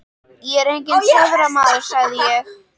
Ég er enginn töframaður sagði ég.